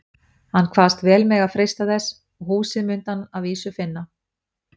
Hann kvaðst vel mega freista þessa, og húsið mundi hann að vísu finna.